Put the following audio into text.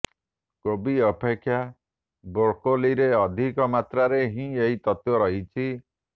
କୋବି ଅପେକ୍ଷା ବ୍ରୋକୋଲିରେ ଅଧିକ ମାତ୍ରାରେ ଏହି ତତ୍ତ୍ୱ ରହିଛି